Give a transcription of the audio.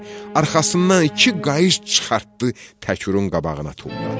Arxasından iki qayış çıxartdı, Təkrun qabağına tulladı.